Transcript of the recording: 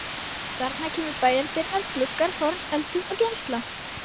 Þarna kæmu bæjardyrnar, gluggar, horn, eldhús og geymsla.